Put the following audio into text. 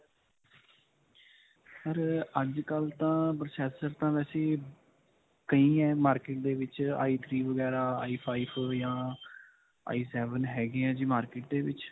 sir, ਅੱਜਕਲ੍ਹ ਤਾਂ processor ਤਾਂ ਵੈਸੇ ਕਈ ਹੈ market ਦੇ ਵਿੱਚ ਆਈ ਥ੍ਰੀ ਵਗੈਰਾ ਆਈ ਫਾਈਵ ਜਾਂ ਆਈ ਸੇਵਨ ਹੈਗੇ ਹੈ ਜੀ market ਦੇ ਵਿੱਚ.